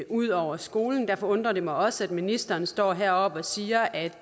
ud over skolen og derfor undrer det mig også at ministeren står heroppe og siger at